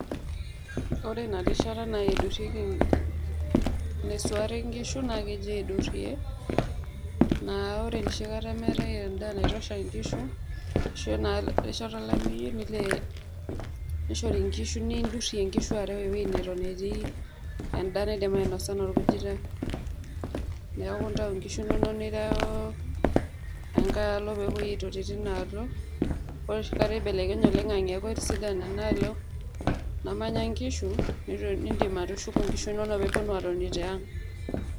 Ore ina rishata naidurrieki, naiswaari nkishu naa keji aidurrie, naa ore noshi kata metae endaa naitosha nkishu, ashu rishata olameyu, nishori nkishu nidurrie nkishu areu wueii neton netii endaa naidim ainosa anaa orkujita, neeku itayuu nkishu inonok nireuuu, enkae alo pepoi aitoti tinaalo, ore oshi kata eibelekenye oloing'ange eeku etisidana enaalo namanya nkishu, nidim atushuku nkishu inonok peepuonu atoni tiaang.